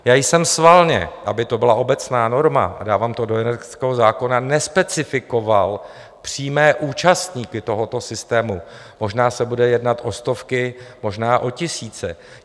Já jsem schválně, aby to byla obecná norma, a dávám to do energetického zákona, nespecifikoval přímé účastníky tohoto systému, možná se bude jednat o stovky, možná o tisíce.